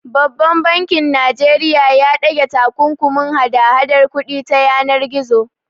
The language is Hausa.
Babban bankin Najeriya ya ɗage takunkumin hada hadar kuɗi ta yanar gizo.